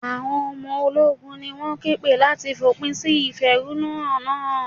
Àwọn ọmọ ológun ni wón ké pè láti fòpin sí ìfẹ̀húnú hàn náà.